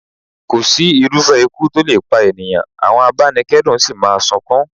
Kò sí irúfẹ́ ikú tó lè pa ènìyàn, àwọn abanikedun sì máa sunkún.